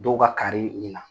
Dɔw ka kaari